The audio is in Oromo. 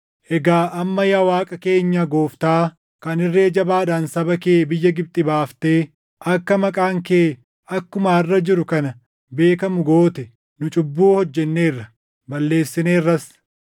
“Egaa amma yaa Waaqa keenya Gooftaa, kan irree jabaadhaan saba kee biyya Gibxi baaftee akka maqaan kee akkuma harʼa jiru kana beekamu goote, nu cubbuu hojjenneerra; balleessineerras.